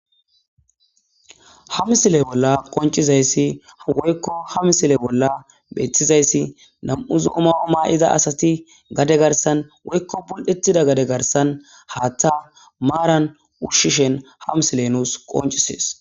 ha misile bolla qoncizayssi woykko ha misile bolla beetizayssi nam'u zo'o mayo mayiza asati gade garsan woykko bul'ettida gade garsan haatta maaran ushshishen ha misile nuus qoncisees